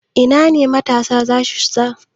Ina ne matasa za su shiga gobe?